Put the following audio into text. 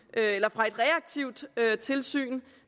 fra et reaktivt tilsyn